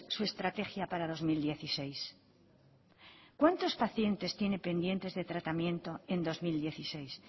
su estrategia para dos mil dieciséis cuántos pacientes tiene pendientes de tratamiento en dos mil dieciséis